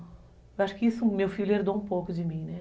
Eu acho que isso, meu filho, herdou um pouco de mim, né?